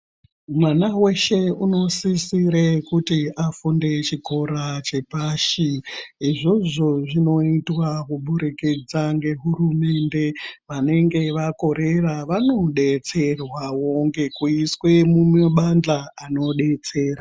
Mwana weshe uno sisire kuti afunde chikora chepashi izvozvo zvinoitwa kubudikidza nge hurumende vanenge vakorera vano betserwawo ngekuiswe muma bandhla ano betsera.